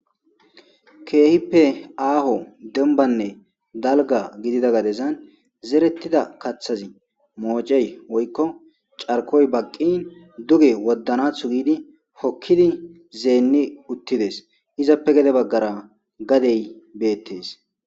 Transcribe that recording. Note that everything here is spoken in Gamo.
kKehippe aaho dembanne dalga gidida gadezan zerettida kathazi moocey woykko carkoy baqqin duge woddanathu giidi hokkidi zeenni uttides izappe gede baggara gadey beettes.